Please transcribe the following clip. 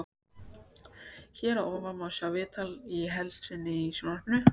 Hér að ofan má sjá viðtalið í heild seinni í sjónvarpinu.